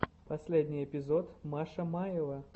последний эпизод маша маева